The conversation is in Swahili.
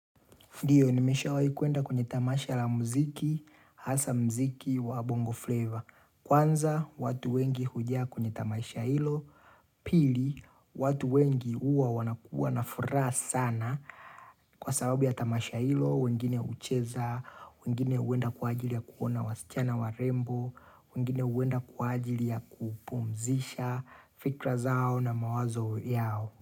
Ndiyo, nimeshawai kuenda kwenye tamasha la mziki, hasa mziki wa bongo flavor. Kwanza, watu wengi hujaa kwenye tamasha hilo. Pili, watu wengi huwa wanakua nafuraha sana. Kwa sababu ya tamasha hilo, wengine hucheza, wengine huenda kwa ajili ya kuona wasichana warembo, wengine huenda kwa ajili ya kupumzisha, fikra zao na mawazo yao.